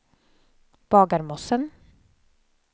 Bagarmossen